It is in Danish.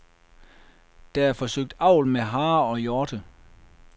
Der er forsøgt avl med harer og hjorte.